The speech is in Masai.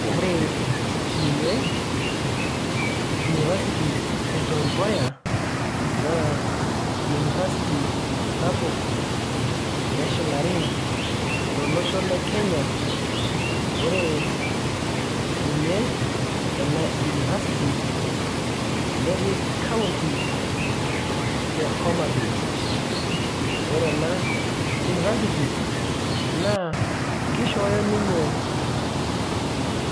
Ore ninye University e Tom Mboya, naa University sapuk neshilari tolosho le Kenya, ore ninye ena University, netii kaunti e Homabay. Ore ena University, naa kishooyo ninye